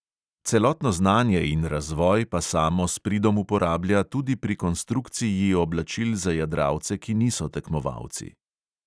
Celotno znanje in razvoj pa samo s pridom uporablja tudi pri konstrukciji oblačil za jadralce, ki niso tekmovalci.